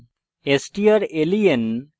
strlen